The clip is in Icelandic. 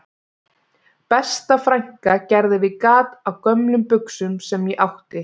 Besta frænka gerði við gat á gömlum buxum sem ég átti